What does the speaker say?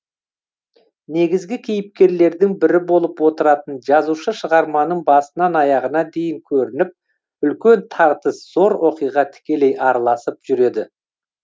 негізгі кейіпкерлердің бірі болып отыратын жазушы шығарманың басынан аяғына дейін көрініп үлкен тартыс зор оқиға тікелей араласып жүреді